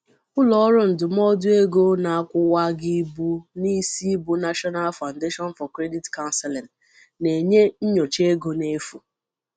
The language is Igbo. Ụlọọrụ ndụmọdụ ego na-akwuwagjibueu n'isi bu National Foundation for Credit Counseling na-enye nnyocha ego n'efu.